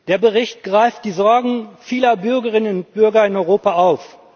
Der Bericht greift die Sorgen vieler Bürgerinnen und Bürger in Europa auf.